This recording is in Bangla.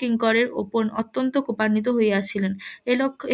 কিঙ্করের উপর অত্যন্ত কুপানীত্ব হইয়াছিলেন